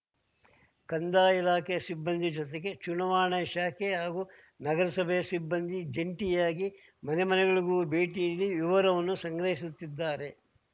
ಕಂದಾಯ ಇಲಾಖೆ ಸಿಬ್ಬಂದಿ ಜೊತೆಗೆ ಚುನಾವಣಾ ಶಾಖೆ ಹಾಗೂ ನಗರಸಭೆ ಸಿಬ್ಬಂದಿ ಜಂಟಿಯಾಗಿ ಮನೆ ಮನೆಗಳಿಗೂ ಭೇಟಿ ನೀಡಿ ವಿವರವನ್ನು ಸಂಗ್ರಹಿಸುತ್ತಿದ್ದಾರೆ